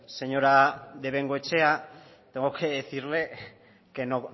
señora de bengoechea tengo que decirle que no